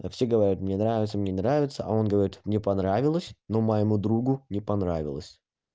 все говорят мне нравится мне нравится а он говорит мне понравилось но моему другу не понравилось